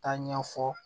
Taa ɲɛfɔ